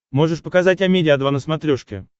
можешь показать амедиа два на смотрешке